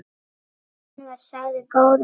Hann var sagður góður málari.